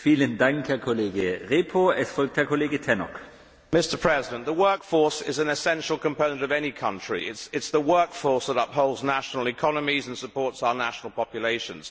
Mr President, the workforce is an essential component of any country it is the workforce that upholds national economies and supports our national populations.